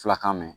Fulakan mɛn